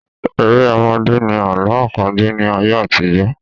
Eré ọmọdé ni Àlọ àpagbẹ̀ ni ayé àtijọ́